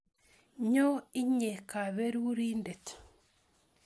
Nyo inye kaberurindet